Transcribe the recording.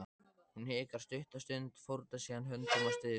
Hún hikar stutta stund, fórnar síðan höndum og stynur.